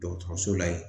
Dɔgɔtɔrɔso la yen